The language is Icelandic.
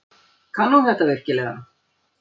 Kann hún þetta virkilega?